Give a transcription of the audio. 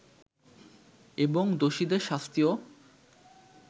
এবং দোষীদের শাস্তিও